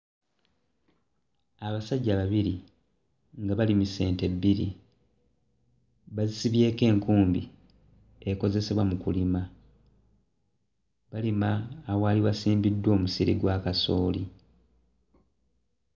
Abasajja babiri nga balimisa ente bbiri bazisibyeko enkumbi ekozesebwa mu kulima balima awaali wasimbiddwa omusiri gwa kasooli.